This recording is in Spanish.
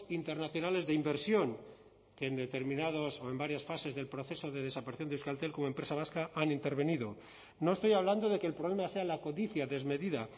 internacionales de inversión que en determinados o en varias fases del proceso de desaparición de euskaltel como empresa vasca han intervenido no estoy hablando de que el problema sea la codicia desmedida